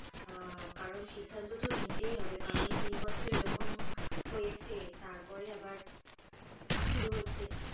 কারণ সিদ্ধান্ত তো নিতেই হবে কারণ তিন বছর এরকম হয়েছে তারপরে আবার শুরু হচ্ছে, তো